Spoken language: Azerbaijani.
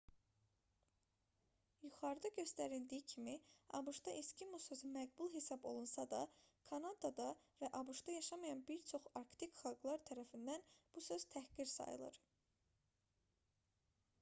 yuxarıda göstərildiyi kimi abş-da eskimo sözü məqbul hesab olunsa da kanadada və abş-da yaşamayan bir çox arktik xalqlar tərəfindən bu söz təhqir sayılır